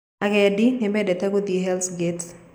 Agendi nĩmendete gũthiĩ Hellsgate